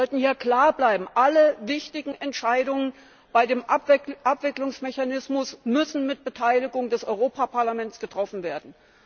Wir sollten hier klar bleiben Alle wichtigen Entscheidungen bei dem Abwicklungsmechanismus müssen mit Beteiligung des Europäischen Parlaments getroffen werden.